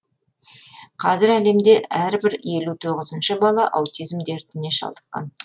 қазір әлемде әрбір елу тоғызыншы бала аутизм дертіне шалдыққан